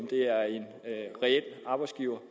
at arbejdsgiverne